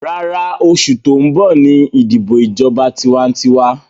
Rárá, oṣù tó ń bọ̀ ní ìdìbọ̀ ìjọba tiwantiwa